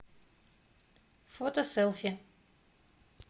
фото селфи